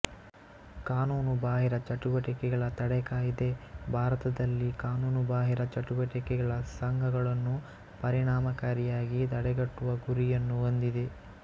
ಕಾನೂನುಬಾಹಿರ ಚಟುವಟಿಕೆಗಳ ತಡೆ ಕಾಯ್ದೆ ಭಾರತದಲ್ಲಿ ಕಾನೂನುಬಾಹಿರ ಚಟುವಟಿಕೆಗಳ ಸಂಘಗಳನ್ನು ಪರಿಣಾಮಕಾರಿಯಾಗಿ ತಡೆಗಟ್ಟುವ ಗುರಿಯನ್ನು ಹೊಂದಿದೆ